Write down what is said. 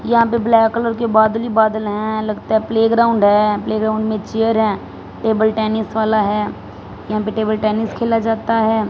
यहां पे black colour के बादल ही बादल हैं लगता है प्लेग्राउंड है प्लेग्राउंड में चेयर हैं टेबल टेनिस वाला है यहां पे टेबल टेनिस खेला जाता है।